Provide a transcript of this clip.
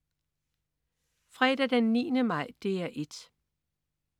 Fredag den 9. maj - DR 1: